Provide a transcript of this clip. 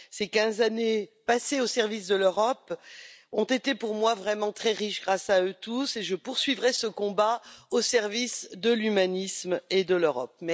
Ces 15 années passées au service de l'Europe ont été pour moi vraiment très riches grâce à eux tous et je poursuivrai ce combat au service de l'humanisme et de l'Europe.